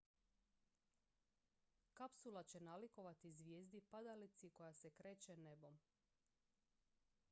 kapsula će nalikovati zvijezdi padalici koja se kreće nebom